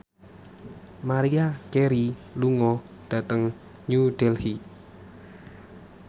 Maria Carey lunga dhateng New Delhi